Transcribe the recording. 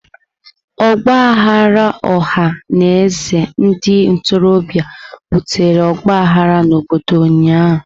Ọgba aghara ọha na eze ndị ntorobịa butere ọgbaghara n'obodo ụnyahụ.